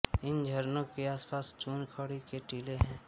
इन झरनों के आसपास चूनखड़ी के टीले हैं